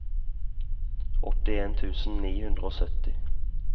åttien tusen ni hundre og sytti